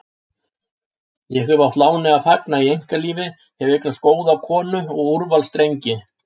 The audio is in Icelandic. Ég hef átt láni að fagna í einkalífi, hef eignast góða konu og úrvals drengi.